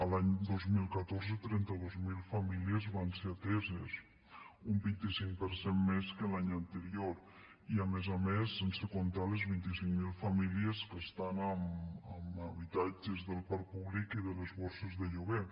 l’any dos mil catorze trenta dos mil famílies van ser ateses un vint cinc per cent més que l’any anterior i a més a més sense comptar les vint cinc mil famílies que estan en habitatges del parc públic i de les borses de lloguer